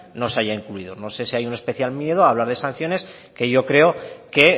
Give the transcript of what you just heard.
no se haya incluido no sé si hay un especial miedo a hablar de sanciones que yo creo que